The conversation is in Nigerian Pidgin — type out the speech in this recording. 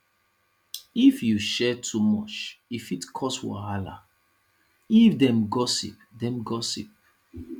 if you share too much e fit cause wahala if dem gossip dem gossip